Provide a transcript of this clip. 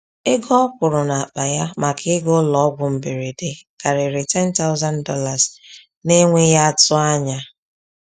Ego ọ kwụrụ n’akpa ya maka ịga ụlọọgwụ mberede karịrị $10,000 n’enweghị atụ anya.